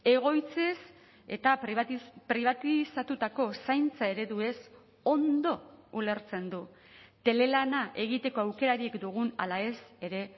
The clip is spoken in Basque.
egoitzez eta pribatizatutako zaintza ereduez ondo ulertzen du telelana egiteko aukerarik dugun ala ez ere